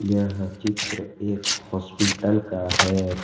यह चित्र एक हॉस्पिटल का है।